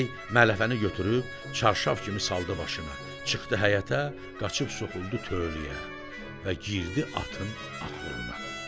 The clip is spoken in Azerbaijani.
Və bəy mələfəni götürüb çarşaf kimi saldı başına, çıxdı həyətə, qaçıb soxuldu tövləyə və girdi atın axuruna.